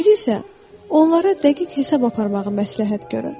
Siz isə onlara dəqiq hesab aparmağı məsləhət görüm.